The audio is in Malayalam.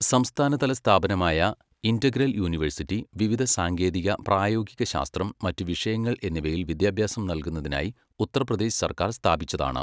സംസ്ഥാനതല സ്ഥാപനമായ ഇന്റഗ്രൽ യൂണിവേഴ്സിറ്റി, വിവിധ സാങ്കേതിക, പ്രായോഗിക ശാസ്ത്രം, മറ്റ് വിഷയങ്ങൾ എന്നിവയിൽ വിദ്യാഭ്യാസം നൽകുന്നതിനായി ഉത്തർപ്രദേശ് സർക്കാർ സ്ഥാപിച്ചതാണ്.